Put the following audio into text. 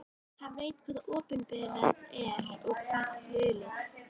Hann veit hvað opinberað er og hvað hulið.